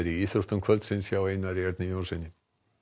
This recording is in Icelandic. í íþróttum kvöldsins hjá Einari Erni Jónssyni